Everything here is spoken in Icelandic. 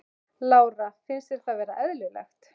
Lára: Finnst þér það vera eðlilegt?